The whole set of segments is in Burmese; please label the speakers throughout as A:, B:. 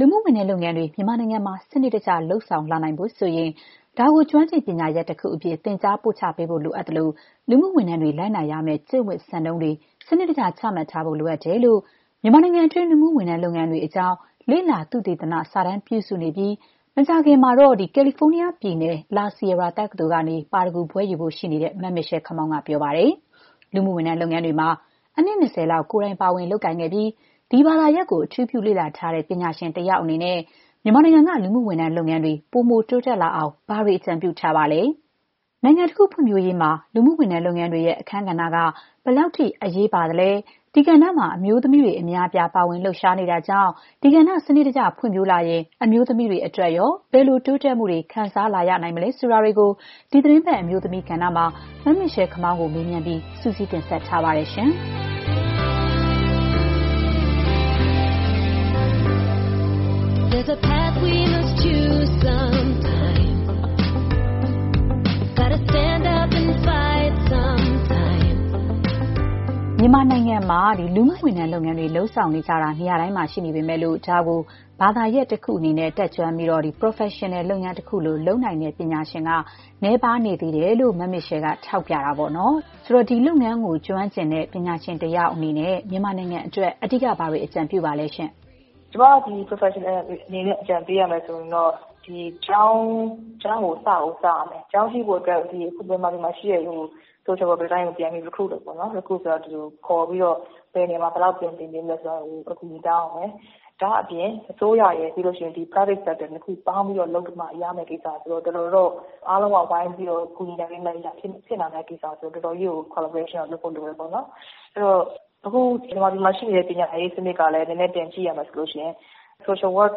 A: လူမှုဝန်ထမ်းလုပ်ငန်းတွေ မြန်မာနိုင်ငံမှာ ပိုပြီး စနစ်တကျ လုပ်ဆောင်လာနိုင်ဖို့ဆိုရင် ဒါကို ကျွမ်းကျင်ပညာရပ်တခုအဖြစ် သင်ကြား ပို့ချပေးဖို့ လိုအပ်သလို၊ လူမှုဝန်ထမ်းတွေ လုပ်နာရမယ့် ကျင့်ဝတ် စံနှုန်းတွေ စနစ်တကျ ချမှတ်ထားဖို့ လိုအပ်တယ်လို့ မြန်မာနိုင်ငံအတွင်း လူမှုဝန်ထမ်းလုပ်ငန်းတွေအကြောင်း လေ့လာ သုတေသန စာတမ်းပြုစုနေပြီး မကြာခင်မှာ ကယ်လီဖိုးနီးယားပြည်နယ် La Sierra တက္ကသိုလ်ကနေ ပါရဂူဘွဲ့ယူဖို့ ရှိနေတဲ့ မမစ်ရှဲလ် ခမောင်း က ပြောပါတယ်။ လူမှုဝန်ထမ်းလုပ်ငန်းတွေမှာ အနှစ် ၂၀ လောက် ကိုယ်တိုင် ပါဝင်လုပ်ကိုင်ခဲ့ပြီး ဒီဘာသာရပ်ကို အထူးပြု လေ့လာထားတဲ့ ပညာရှင်တယောက် အနေနဲ့ မြန်မာနိုင်ငံက လူမှုဝန်ထမ်း လုပ်ငန်းတွေ ပိုမို တိုးတက်လာအောင် ဘာတွေ အကြံပြုထားပါလဲ။ နိုင်ငံတခု ဖွံ့ဖြိုးရေးမှာ လူမှုဝန်ထမ်း လုပ်ငန်းတွေရဲ့ အခန်းကဏ္ဍက ဘယ်လောက်အထိ အရေးပါ ပါသလဲ။ ဒီကဏ္ဍမှာ အမျိုးသမီးတွေ အများအပြား ပါဝင် လှုပ်ရှားနေတာကြောင့် ဒီကဏ္ဍ စနစ်တကျ ဖွံ့ဖြိုးလာရင် အမျိုးသမီးတွေ အတွက်ရော ဘယ်လို တိုးတက်မှုတွေ ခံစားလာရနိုင်မလဲ ဆိုတာတွေကို ဒီသီတင်းပတ် အမျိုးသမီးကဏ္ဍမှာ မမစ်ရှဲလ်ခမောင်းကို မေးမြန်းပြီး မခင်ဖြူထွေးက စုစည်းတင်ဆက်ထားပါတယ်။ မ
B: ြ
A: န်မာနိုင်ငံမှာ လူမှုဝန်ထမ်းလုပ်ငန်းတွေ လုပ်ဆောင်နေကြတာ နေရာတိုင်းမှာ ရှိနေပေမဲ့ ဒါကို ဘာသာရပ်တခုအနေနဲ့ တတ်ကျွမ်းပြီး ပရော်ဖက်ရှင်နယ် လုပ်ငန်းတခုလို လုပ်နိုင်တဲ့ ပညာရှင်တွေ နည်းပါးနေသေးတယ်လို့ မမစ်ရှဲလ်က ထောက်ပြထားတာပေါ့လေ။ ဆိုတော့ ဒီလုပ်ငန်းမှာ ကျွမ်းကျင်ပညာရှင်တယောက် အနေနဲ့ မြန်မာနိုင်ငံအတွက် အဓိက ဘာတွေ အကြံပြုပါသလဲရှင့်
C: ။ “ကျမ ပရော်ဖက်ရှင်နယ် တယောက်အနေနဲ့ အကြံပေးရမယ်ဆိုရင်တော့ ဒီကျောင်းကို စကိုစရမယ်။ ကျောင်းရှိဖို့အတွက် မြန်မာပြည်မှာရှိတဲ့ social worker တိုင်းကို ပြန်ပြီး recruit လုပ်ပေါ့နော်။ recruit ဆိုတာကတော့ ဒီလူတွေကို ခေါ်ပြီးတော့ ဘယ်နေရာမှာ ဘယ်လောက် ပြန်သင်ပေးနိုင်မလဲဆိုတာ အကူအညီတောင်းရမယ်။ ဒါ့အပြင် အစိုးရရယ်၊ private sector နှစ်ခုပေါင်းပြီးမှ လုပ်လို့ရမယ့်ကိစ္စပါ။ တော်တော်တော့ အားလုံးက ဝိုင်းပြီးတော့ ကူညီဆောင်ရွက်မှ ဖြစ်လာမယ့်ကိစ္စဆိုတော့ qualification ကိုတော့ တော်တော်တော့ လုပ်ဖို့လိုတယ်ပေါ့နော်။ အဲ့ဒီတော့ အခု မြန်မာပြည်မှာရှိနေတဲ့ ပညာရေးစနစ်ကလည်း နည်းနည်း ပြန်ကြည့်ရမယ်ဆိုရင် social work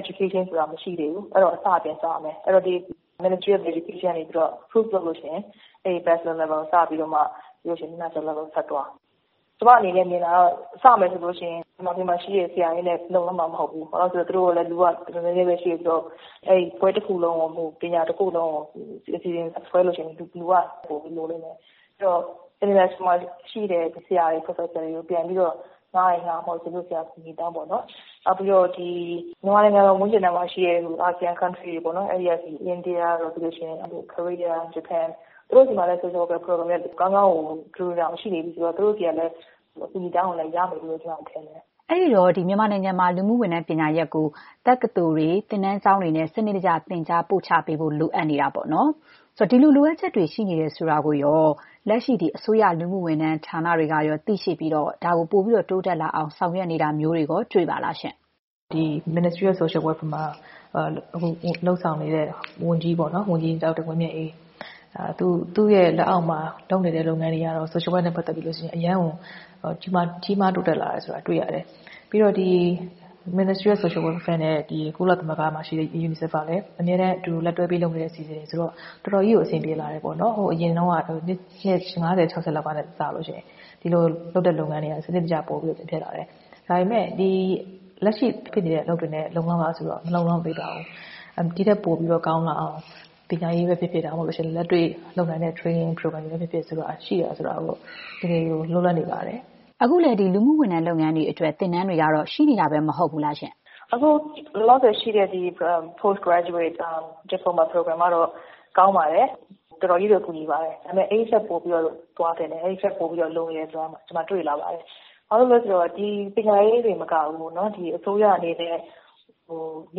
C: education ဆိုတာ မရှိသေးဘူး။ အဲ့ဒီတော့ အစက ပြန်စရမယ်။ အဲ့ဒီတော့ Ministry of Education ကနေပြီးတော့ အတည်ပြုလို့ရှိရင် အဲ့ဒီ Bachelor level အဆင့်စပြီးတော့မှ ပြီးလို့ရှိရင် Master level ဆက်သွား။ ကျမ အနေနဲ့ မြင်တာကတော့ စမယ်ဆိုလို့ရှိရင် မြန်မာပြည်မှာရှိတဲ့ ဆရာတွေနဲ့ လုံလောက်မှာမဟုတ်ဘူး။ ဘာဖြစ်လို့လဲဆိုတော့ သူတို့မှာလည်း လူက နည်းနည်းလေးပဲ ရှိတယ်ဆိုတော့ အဲ့ဒီဘွဲ့တခုလုံး ပညာရပ်တခုလုံးကို အစီအစဉ်ဆွဲလို့ရှိရင် လူက လိုလိမ့်မယ်။ အဲ့ဒီတော့ နိုင်ငံတကာမှာရှိတဲ့ ဆရာတွေ၊ ပရော်ဖက်ဆာတွေကို ပြန်ပြီးတော့ ငှားရင်ငှား၊ ဒါမှမဟုတ် သူတို့ဆီက အကူအညီတောင်းပေါ့နော်။ မြန်မာနိုင်ငံ ဝန်းကျင်မှာရှိတဲ့ အာဆီယံနိုင်ငံတွေအပြင် အိန္ဒိယ တို့၊ ကိုရီးယား၊ ဂျပန် တို့မှာဆိုရင်လည်း သူတို့ဆီမှာ social worker တွေက တော်တော် ကောင်းကောင်းကို ထူထူထောင်ထောင် ရှိနေပြီဆိုတော့ သူတို့ဆီကလည်း အကူအညီတောင်းရင်လည်း ရမယ်လို့တော့ ကျမ ထင်တယ်
A: ။” အဲ့ဒီတော့ မြန်မာနိုင်ငံမှာ လူမှုဝန်ထမ်း ပညာရပ်ကို တက္ကသိုလ်တွေ၊ သင်တန်းကျောင်းတွေနဲ့ စနစ်တကျ သင်ကြားပို့ချပေးဖို့ လိုအပ်နေတာပေါ့နော်။ ဆိုတော့ ဒီလို လိုအပ်ချက်တွေ ရှိနေတယ်ဆိုတာကို လက်ရှိ အစိုးရ လူမှုဝန်ထမ်း ဌာနတွေကရော သိရှိပြီး ဒါကို ပိုပြီး တိုးတက်လာအောင် ဆောင်ရွက်နေတာမျိုးတွေရော တွေ့ရပါသလားရှင့်။ “Ministry of
B: Social Welfare မှာ အခု လုပ်ဆောင်နေတဲ့ ဝန်ကြီး ဒေါက်တာ ဝင်းမြတ်အေး ပေါ့နော်။ သူ့ရဲ့လက်အောက်မှာ လုပ်နေတဲ့လုပ်ငန်းတွေကတော့ social work နဲ့ပတ်သက်ပြီး အရမ်းကို ကြီးကြီးမားမား တိုးတက်လာတယ်ဆိုတာ တွေ့ရတယ်။ ပြီးတော့ ဒီလူမှုဝန်ထမ်းဌာနနဲ့ ကုလသမဂ္ဂ UNICEF ကလည်း အမြဲတမ်း အတူတူ လက်တွဲပြီး လုပ်နေတဲ့ အစီအစဉ်တွေ ဆိုတော့ တော်တော်ကြီးကို အဆင်ပြေလာတယ်ပေါ့နော်။ ဟိုးအရင်တုန်းက နှစ် ၅၀-၆၀ လောက်ကနဲ့စာရင် ဒီလိုလုပ်တဲ့လုပ်ငန်းတွေက စနစ်တကျ ပိုပြီး ဖြစ်လာတယ်။ ဒါပေမဲ့ လက်ရှိ ရှိနေတဲ့ အလုပ်တွေနဲ့ လုံလောက်လားဆိုတော့ မလုံလောက်သေးပါဘူး။ ဒီ့ထက်ပိုပြီးတော့ ကောင်းလာအောင် ပညာရေးပဲဖြစ်ဖြစ်၊ ဒါမှမဟုတ်ရင်လည်း လက်တွ
A: ေ့လုပ်နိုင်တဲ့ training program တွေပဲ ဖြစ်ဖြစ် ပိုပြီး ရှိဖို့ကတော့ တကယ်ကို လိုအပ်နေပါတယ်။” အခုလည်း လူမှုဝန်ထမ်းတွေအတွက် သင်တန်းတွေတော့ ရှိနေတာပဲ မဟုတ်ဘူးလားရှင့်။ “အခု လောလ
C: ောဆယ်ရှိတဲ့ post graduate diploma program ကတော့ ကောင်းပါတယ်။ တော်တော်ကြီးကို အထောက်အကူဖြစ်ပါတယ်။ ဒါပေမဲ့ အဲ့ဒီထက်ပိုပြီးတော့ သွားသင့်တယ်။ အဲ့ဒီထက် ပိုပြီးတော့ လိုနေတယ်ဆိုတာ ကျမ တွေ့လာပါတယ်။ ဘာလို့လဲဆိုတော့ ပညာရေးတင် မကဘူး။ အစိုးရအနေနဲ့ န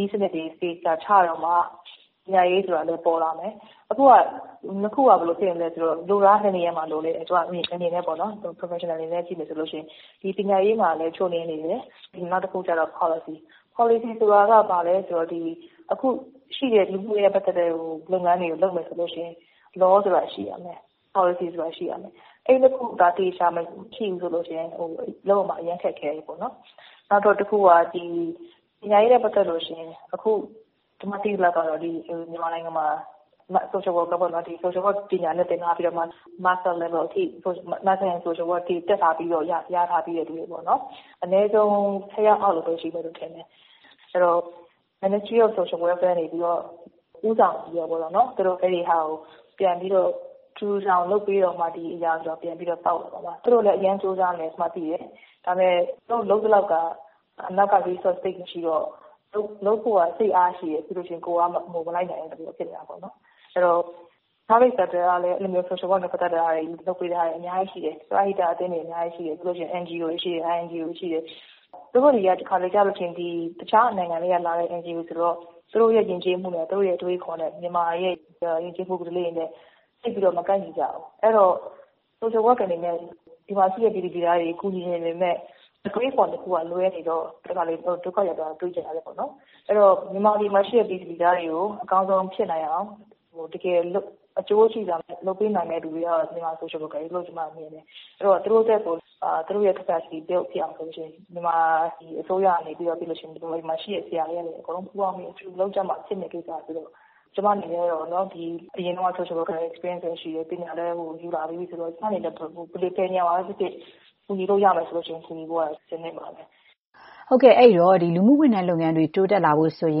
C: ည်းစနစ်တွေ သေချာ ချတော့မှ ပညာရေးဆိုတာလည်း ပေါ်လာမယ်။ အခုက နှစ်ခုက ဘယ်လိုဖြစ်နေလဲ ဆိုတော့ လိုနေတာက နှစ်နေရာမှာလိုနေတယ်။ ကျမ အမြင်အရ ပေါ့နော် ပရော်ဖက်ရှင်နယ် အနေနဲ့ ကြည့်မယ်ဆိုလို့ရှိရင်။ ပညာရေးမှာလည်း ချို့ယွင်းနေတယ်။ နောက်တခုက ပေါ်လစီ။ ပေါ်လစီဆိုတာက ဘာလဲဆိုတော့ အခုရှိတဲ့ လူမှုရေးနဲ့ပတ်သက်တဲ့ လုပ်ငန်းတွေကို လုပ်မယ်ဆိုရင် ဥပဒေ ဆိုတာ ရှိရမယ်။ ပေါ်လစီ ဆိုတာ ရှိရမယ်။ အဲ့ဒီနှစ်ခုသာ သေချာ မရှိဘူးဆိုလို့ရှိရင် လုပ်ရမှာ အရမ်း ခက်ခဲတယ်ပေါ့နော်။ နောက်တခုက ပညာရေးနဲ့ပတ်သက်လို့ရှိရင် အခု ကျမ သိသလောက်ကတော့ မြန်မာနိုင်ငံမှာ ဒီ social worker ပေါ့နော်။ social work ပညာရပ်နဲ့ သင်ထားပြီးတော့မှ Master level အထိ Master in Social Work အထိ တက်ထားပြီးတော့ ရထားပြီးတဲ့သူတွေက အနည်းဆုံး ၁၀ ယောက်အောက် လောက်ပဲ ရှိမယ်လို့ ထင်တယ်။ အဲ့ဒီတော့ လူမှုဝန်ထမ်း ဌာနကနေပြီးတော့ ဦးဆောင်ပြီးတော့ သူတို့ အဲ့ဒါကို ပြန်ပြီးတော့ ထူထူထောင်ထောင် လုပ်ပေးတော့မှ ဒီအရာက ပြန်ပြီးတော့ ကောင်းလာမှာပါ။ သူတို့လည်း အရမ်းကြိုးစားနေတာ ကျမ သိတယ်။ ဒါပေမဲ့ သူတို့လုပ်သလောက်က အနောက်က resource သိပ်မရှိတော့ သူတို့လုပ်ဖို့က စိတ်အား ရှိပြီး ကိုယ်အား မလိုက်နိုင်တာမျိုး ဖြစ်နေတာပေါ့နော်။ အဲ့ဒီတော့ ပုဂ္ဂလိကကဏ္ဍကလည်း social work နဲ့ပတ်သက်တာတွေ လုပ်ပေးထားတာတွေ အများကြီး ရှိတယ်။ ပရဟိတ အသင်းတွေ အများကြီး ရှိတယ်။ ပြီးလို့ရှိရင် NGO တွေရှိတယ်။ INGO တွေ ရှိတယ်။ INGO တွေက တခါတလေကျရင်တော့ တခြား နိုင်ငံတွေကလာတဲ့ NGO တွေဆိုရင်တော့ သူတို့ယဉ်ကျေးမှုနဲ့ သူတို့ အတွေးအခေါ်နဲ့ မြန်မာနဲ့ ယဉ်ကျေးမှု ဓလေ့တွေနဲ့ သိပ်ပြီး မကိုက်ညီကြဘူး။ အဲ့ဒီတော့ social work အနေနဲ့ ဒီမှာရှိတဲ့ပြည်သူပြည်သားတွေကို ကူညီချင်ပေမဲ့ အတွေးအခေါ် နှစ်ခုကလွဲနေတော့ တခါတလေ ဒုက္ခရောက်တာတွေ တွေ့ရတယ်ပေါ့နော်။ အဲ့ဒီတော့ မြန်မာပြည်မှာရှိတဲ့ ပြည်သူပြည်သားတွေကို အကောင်းဆုံး ဖြစ်နိုင်အောင် တကယ်အကျိုးရှိစွာ လုပ်ပေးနိုင်မယ့်သူတွေကတော့ မြန်မာ social worker တွေလို့ ကျမက မြင်တယ်။ အဲ့ဒီတော့ သူတို့အတွက်ကို သူတို့ရဲ့ အရည်အသွေးတွေ မြင့်အောင်ဆိုလို့ရှိရင် မြန်မာအစိုးရ၊ မြန်မာပြည်မှာရှိတဲ့ ဆရာ ဆရာမတွေကနေ အကုန်လုံး ပူးပေါင်းပြီး အတူတူလုပ်ကြမှ ဖြစ်မယ့်ကိစ္စဆိုတော့ ကျမ အနေနဲ့တော့ အရင်တုန်းကလည်း social work နဲ့ပတ်သက်ပြီး အတွေ့အကြုံ ရှိတယ်။ ပညာလည်း ယူလာပြီးပြီဆိုတော့ ကျမ အနေနဲ့ ဘယ်နေရာမှာပဲဖြစ်ဖြစ် ကူညီလို့ရမယ်ဆိုရင် ကူညီဖို့ကတော့ အဆင်သင့်ပါပဲ။
A: ” ဟုတ်ကဲ့။ အဲ့ဒီတော့ ဒီလူမှုဝန်ထမ်းလုပ်ငန်းတွေ တိုးတက်လာဖို့ဆိုရ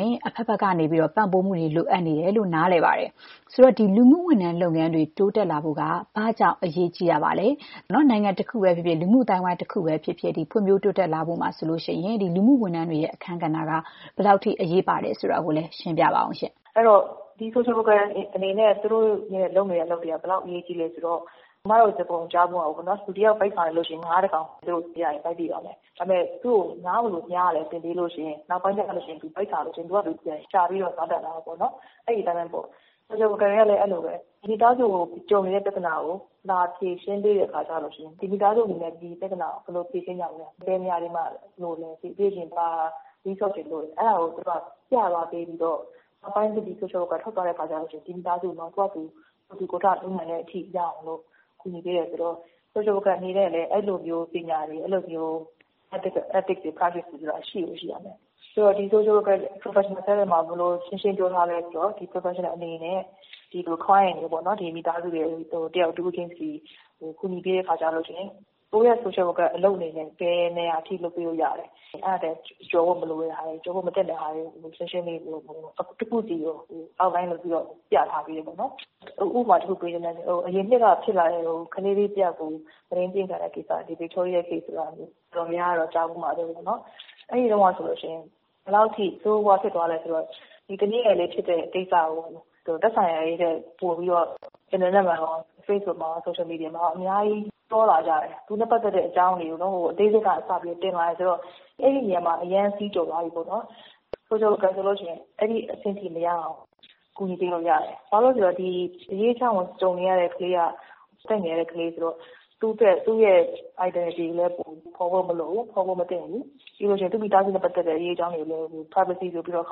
A: င် အဘက်ဘက်က ပံ့ပိုးမှုတွေ လိုအပ်နေတယ်လို့ နားလည်ပါတယ်။ ဆိုတော့ ဒီ လူမှုဝန်ထမ်း လုပ်ငန်းတွေ တိုးတက်လာဖို့က ဘာကြောင့် အရေးကြီးတာပါလဲ။ နိုင်ငံတနိုင်၊ လူမှုအသိုင်းအဝိုင်းတခုမှာ လူမှုဝန်ထမ်း အလုပ်တွေ ဖွံ့ဖြိုတိုးတက်လာဖို့မှာ လူမှုဝန်ထမ်းတွေရဲ့ အခန်းကဏ္ဍက ဘယ်လောက်အထိ အရေးပါသလဲ ဆိုတာကိုလည်း နည်းနည်း ရှင်းပြပေးပါရှင့်။
C: “အဲ့တော့ ဒီ social worker တွေ အနေနဲ့ သူတို့လုပ်နေတဲ့အလုပ်တွေက ဘယ်လောက် အရေးကြီးလဲဆိုတော့ စကားပုံတခု ကြားဖူးမှာပေါ့နော်။ လူတယောက် ဗိုက်ဆာနေလို့ရှိရင် ငါးတကောင် သူရရင် ဗိုက်ပြည့်သွားမယ်။ ဒါပေမဲ့ သူ့ကို ငါးဘယ်လိုမ ျှားရသလဲ သင်ပေးလို့ရှိရင် နောက်ပိုင်းကျရင် သူ ဗိုက်ဆာလို့ရှိရင် သူ့ဟာသူ ပြန်ရှာပြီး စားတတ်လာတယ်။ အဲ့ဒီအတိုင်းပဲပေါ့။ social worker တွေကလည်း အဲ့ဒီလိုပဲ။ မိသားတစု ကြုံနေတဲ့ပြဿနာကို လာဖြေရှင်းပေးတဲ့အခါ ဒီ မိသားစု အနေနဲ့ ဒီပြဿနာကို ဘယ်လိုဖြေရှင်းကြမလဲ။ ဘယ်နေရာတွေမှာ လိုအပ်နေလဲ။ ပြီးရင် ဘာ resource တွေ လိုနေလဲ။ အဲ့ဒါတွေကို ပြသွားပေးပြီးတော့ နောက်ပိုင်း ဒီ social worker တွေ ထွက်သွားတဲ့အခါကျလို့ရှိရင် ဒီမိသားစုက သူ့ဟာသူ ကိုယ်ထူကိုယ်ထ လုပ်နိုင်တဲ့အထိ ရောက်အောင် ကူညီပေးတယ်ဆိုတော့ social worker တွေ အနေနဲ့ အဲ့ဒီအတွက် ပညာတွေ၊ အဲ့ဒီအတွက် ethic တွေ ၊ practice တွေ ဆိုတာ ရှိကိုရှိရမယ်။ ဆိုတော့ ဒီ social worker တွေရဲ့ professional standard မှာ ဘယ်လို ရှင်းရှင်းလင်းလင်း ပြောထားလဲ ဆိုတော့ ဒီ professioal တွေ အနေနဲ့ client တွေကိုပေါ့နော်။ ကိုယ်ကူညီပေးနေတဲ့ မိသားစု၊ လူတယောက်ချင်းစီကို ကူညီပေးတဲ့အခါကျလို့ရှိရင် ကိုယ့်ရဲ့ social worker အလုပ် အနေနဲ့ ဘယ်နေရာအထိ လုပ်ပေးလို့ရတယ်။ အဲ့ဒါထက် ကျော်ဖို့မသင့်တဲ့ဟာတွေ တခုချင်းစီကို ရှင်းရှင်းလင်းလင်း ဖော်ပြထားပေးတယ်။ ဥပမာ တခုပေးချင်တယ်။ အရင်နှစ်တုန်းက ဖြစ်ခဲ့တဲ့ ကလေးငယ်တယောက် မုဒိန်းကျင့်ခံရတဲ့ကိစ္စ။ ဗစ်တိုးရီယား ဆိုတာ တော်တော်များများတော့ ကြားဖူးမှာပါ။ အဲ့ဒီတုန်းကဆိုရင် ဘယ်လောက်အထိ ဆိုးဆိုးရွားရွားဖြစ်သွားလဲဆိုတော့ ဒီသမီးငယ်လေးဖြစ်တဲ့ကိစ္စကို သက်ဆိုင်ရာတွေထက်ပိုပြီးတော့ အင်တာနက်မှာရော၊ facebook မှာရော၊ တခြား social media မှာရော အများကြီး ပြောလာကြတယ်။ အသေးစိတ်ကစပြီး တင်လာတယ်ဆိုတော့ အဲ့ဒီနေရာမှာ အရမ်း စည်းကျော်သွားပြီပေါ့နော်။ social worker ဆိုလို့ရှိရင် အဲ့ဒီအဆင်အထိ မရောက်အောင် ကူညီပေးလို့ရတယ်။ ဘာလို့လဲဆိုတော့ ဒီအရေးအကြောင်းကို ကြုံနေရတဲ့ကလေးက အသက်ငယ်တဲ့ကလေးဆိုတော့ သူ့အတွက် သူ့ရဲ့ identity ဘယ်သူဘယ်ဝါ ဆိုတာ ဖော်ဖို့မလိုဘူး။ ဖော်ဖို့မသင့်ဘူး။ ပြီးလို့ရှိရင် သူ့မိသားစုနဲ့ပတ်သက်တဲ့ အရေးအကြောင်းတွေကိုလည်း privacy ဆိုပြီးတော့၊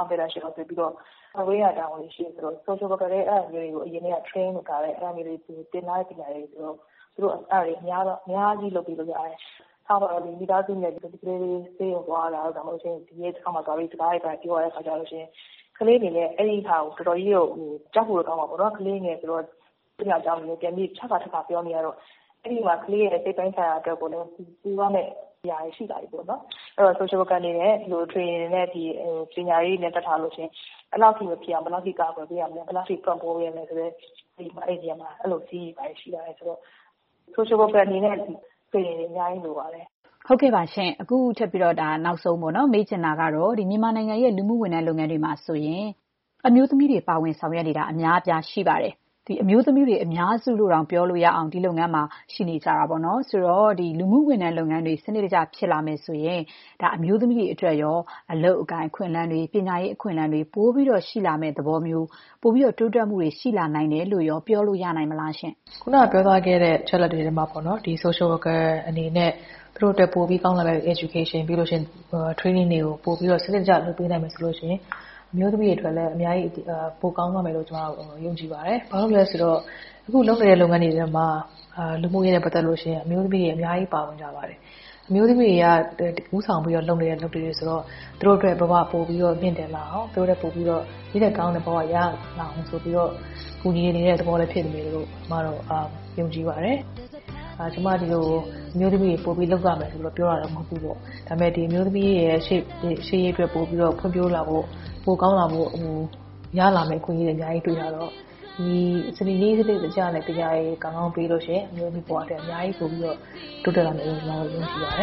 C: confidential ဆိုပြီးတော့ ကာကွယ်ပေးရမယ့် တာဝန်ရှိတယ်။ social worker တွေဆိုရင် အဲ့ဒါမျိုးတွေကို အစကတည်း လေ့လာ သင်ယူထားတဲ့ ပညာတွေ ဆိုတော့ သူတို့သာဆိုရင် အများကြီး ကူညီပေးလို့ရတယ်။ ထားပါတော့ မိသားစုနဲ့ ဒီ ကလေးလေး ဆေးရုံသွားရတာတို့ ဒါမှမဟုတ် ရဲစခန်းတွေမှာသွားပြီး စကားတွေဘာတွေပြောရတာမျိုး ဆိုရင် ကလေး အနေနဲ့ အဲ့ဒါကို တော်တော်ကြီး ကြောက်ဖို့ ကောင်းမှာပေါ့နော်။ ကလေးငယ်အနေနဲ့ သူဖြစ်သမ ျှ အကြောင်းတွေကို ပြန်ပြီး ထပ်ခါထပ်ခါ ပြောနေရတော့ အဲ့ဒီမှာ ကလေးရဲ့ စိတ်ပိုင်းဆိုင်ရာအတွက်ကို ကူရမယ့်အရာတွေလည်း ရှိလာပြီပေါ့နော်။ အဲ့ဒီတော့ social worker တွေ အနေနဲ့ သင်တန်းတွေ၊ ဒီ ပညာရပ်တွေကို တတ်ထားတယ်ဆိုရင် အဲ့ဒီလောက်အထိ မဖြစ်အောင် ဘယ်လောက်အထိ ကာကွယ် ပေးရမလဲ။ ဘယ်လောက်အထိ ပံ့ပိုးပေးရမလဲ ဆိုတဲ့ အဲ့ဒီနေရာမှာ အဲ့လိုစည်းတွေ ရှိရတယ်ဆိုတော့ social worker အနေနဲ့ သင်တန်းတွေ အများကြီး လိုအပ်ပါတယ်။
A: ” ဟုတ်ကဲ့ပါရှင့်။ အခုနောက်ဆုံးမေးချင်တာကတော့ မြန်မာနိုင်ငံရဲ့ လူမှုဝန်ထမ်းလုပ်ငန်းမှာဆိုရင် အမျိုးသမီးတွေ ပါဝင်ဆောင်ရွက်နေတာ အများအပြား ရှိပါတယ်။ အမျိုးသမီးတွေ အများစုလို့ ပြောရလောက်အောင် ဒီလုပ်ငန်းမှာ ရှိနေကြတာပါ။ ဆိုတော့ လူမှုဝန်ထမ်း လုပ်ငန်းတွေ စနစ်တကျ ဖြစ်လာရင် ဒါ အမျိုးသမီးတွေ အတွက်ရော အလုပ်အကိုင် အခွင့်အလမ်း၊ ပညာရေး အခွင့်အလမ်းတွေ ပိုပြီး ရှိလာမယ်။ တိုးတက်မှုတွေ ပိုရှိလာနိုင်တယ်လို့ရော ပြောလို့ရနိုင်ပါမလား။
B: “ခုနကပြောသွားတဲ့ အချက်အလက်တွေထဲမှာပေါ့နော်။ ဒီ social worker တွေ အနေနဲ့ သူတို့အတွက် ပိုပြီး ကောင်းလာမယ့် ပညာရေး၊ ပြီးတော့ သင်တန်းတွေကို စနစ်တကျ လုပ်ပေးနိုင်မယ်ဆိုရင် အမျိုးသမီးတွေ အတွက်လည်း အများကြီး ပိုကောင်းသွားမယ်လို့ ကျမတို့ယုံကြည်ပါတယ်။ ဘာလို့လဲဆိုတော့ အခု လုပ်နေတဲ့လုပ်ငန်းတွေထဲမှာ လူမှုရေးနဲ့ပတ်သက်လို့ရှိရင် အမျိုးသမီးတွေ အများကြီး ပါဝင်ကြပါတယ်။ အမျိုးသမီးတွေက ဦးဆောင်ပြီး လုပ်နေတဲ့ အလုပ်တွေဆိုတော့ သူတို့ရဲ့ဘဝတွေ ပိုပြီး မြှင့်တင်လာအောင်၊ သူတို့အတွက် ပိုကောင်းတဲ့ ဒီ့ထက်ကောင်းတဲ့ဘ၀ ရလာအောင် ပိုပြီးတော့ ကူညီပေးရာ ရောက်လိမ့်မယ်လို့ ယုံကြည်ပါတယ်။ ကျမ အမျိုးသမီးတွေ ပိုပြီးတော့ ဒီအလုပ်မှာ လုပ်ရမယ်လို့တော့ ပြောတာ မဟုတ်ဘူးပေါ့။ ဒါပေမဲ့ အမျိုးသမီးတွေရဲ့ ရှေ့ရေးအတွက် ပိုပြီးတော့ ဖွံ့ဖြိုးလာဖို့၊ ပိုကောင်းလာဖို့ ရလာမယ့် အခွင့်အရေးတွေ အများကြီး တွေ့ရတော့ နည်းစနစ်ကျကျနဲ့ ပညာတွေ ကောင်းကောင်း ပေးလို့ရှိရင် အမျိုးသမီးဘဝအတွက် အများကြီး ပိုပြီးတော့ တိုးတက်လာမယ်လို့ ကျမတို့ ယုံကြည်ပါတ
C: ယ